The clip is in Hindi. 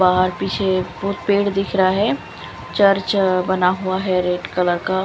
बहार पीछे वो पेड़ दिख रहा है चर्च बना हुआ है रेड कलर का।